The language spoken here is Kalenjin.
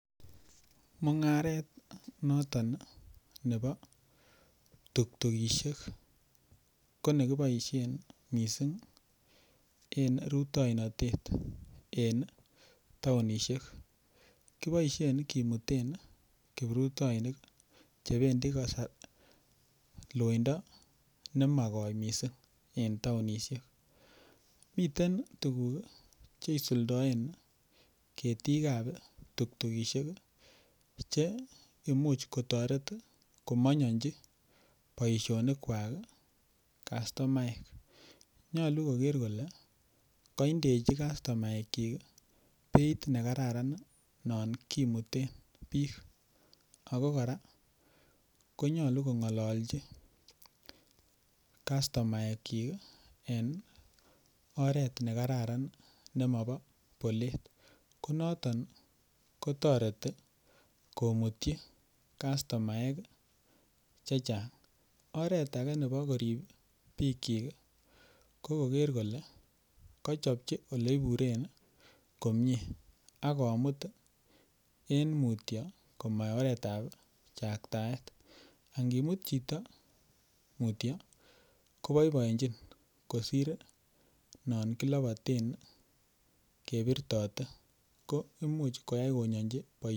mungareet nton iih nebo tuktugushek konegiboishen mising en ruitoinotet en taonishek, kiboishen kimuten kiprutoinik chebendii loindo nemagooi mising en taonishek, miten tuguuk cheisuldoen ketiik ab tuktugushek iih cheimuch kotoret komonyonchi boishonik kwaak iih kastomaek, nyolu kogeer kole koindechi kastomaek kyiik iih beit negararan non kimuteen biik ago koraa konyolu kongololchi kastomaek kyiik iih en oreet negararan nemobo boleet, konoton iih kotoreti komutyi kastomaek chechang, oret age nebo koriib bikyiik ko koger kole kochobchi oleibureen komyee ak komuut en mutyo komo oret ab chaktaet, ak ngimut chito mutyo koboiboenchin kosiir non kiloboten kebirtote, koimuch koyai konyonchi boishet.